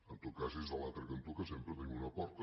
en tot cas és a l’altre cantó que sempre tenim una porta